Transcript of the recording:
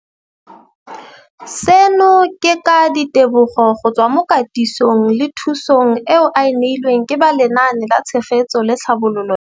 Seno ke ka ditebogo go tswa mo katisong le thu song eo a e neilweng ke ba Lenaane la Tshegetso le Tlhabololo ya.